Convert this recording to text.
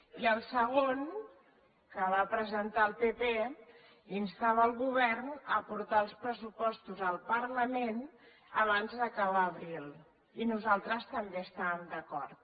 i el segon que va presentar el pp instava el govern a portar els pressupostos al parlament abans d’acabar abril i nosaltres també hi estàvem d’acord